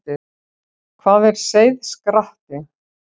Hvað er seiðskratti?